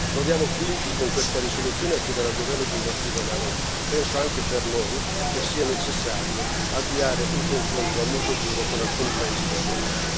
Proviamo quindi con questa risoluzione a chiedere al governo di invertire la rotta e penso anche per noi che sia necessario avviare un confronto a muso duro con alcuni paesi del Golfo.